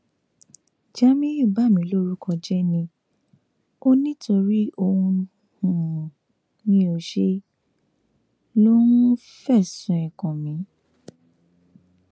jamiu bà mí lórúkọ jẹ ni o nítorí ohun tí um mi ò ṣe ló um fẹsùn ẹ kàn mí